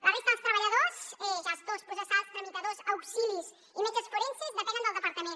la resta dels treballadors gestors processals tramitadors auxilis i metges forenses depenen del departament